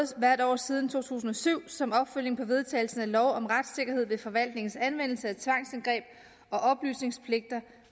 hvert år siden to tusind og syv som opfølgning på vedtagelsen af lov om retssikkerhed ved forvaltningens anvendelse af tvangsindgreb og oplysningspligter